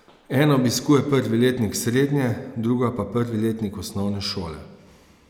Ena obiskuje prvi letnik srednje, druga pa prvi razred osnovne šole.